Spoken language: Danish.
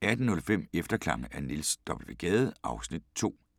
18:05: Efterklange af Niels W. Gade (Afs. 2)